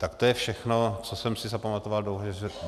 Tak to je všechno, co jsem si zapamatoval.